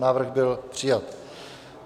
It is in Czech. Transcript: Návrh byl přijat.